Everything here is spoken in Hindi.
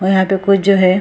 और यहां पे कुछ जो है।